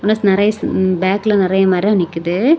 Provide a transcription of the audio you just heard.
நிறைய ம்ம் பேக்ல நிறைய மரம் நிக்குது.